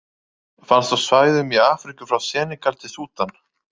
Finnst á svæðum í Afríku frá Senegal til Súdan.